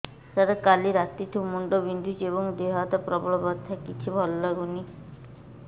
ସାର କାଲି ରାତିଠୁ ମୁଣ୍ଡ ବିନ୍ଧୁଛି ଏବଂ ଦେହ ହାତ ପ୍ରବଳ ବଥା କିଛି ଭଲ ଲାଗୁନି